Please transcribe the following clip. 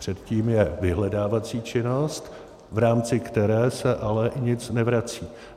Předtím je vyhledávací činnost, v rámci které se ale nic nevrací.